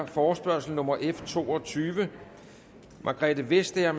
forespørgsel nummer f to og tyve margrethe vestager